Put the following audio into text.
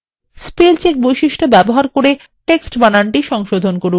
spell check বৈশিষ্ট্য ব্যবহার করে text বানানটি সংশোধন করুন